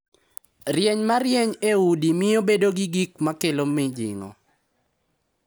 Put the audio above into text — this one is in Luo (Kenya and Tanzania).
Rieny ma rieny e udi miyo bedo gi gik ma kelo mijing’o,